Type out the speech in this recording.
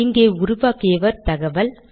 இங்கே உருவாக்கியவர் தகவல்